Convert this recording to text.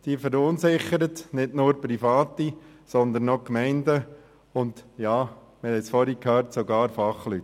Diese verunsichert nicht nur die Privaten, sondern auch Gemeinden und sogar Fachleute, wie wir es vorhin schon gehört haben.